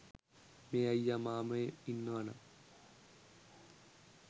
මේ අයියා මාමේ ඉන්නවනම්